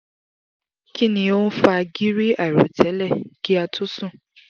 kinni o n fa giri airotele ki a tó sùn?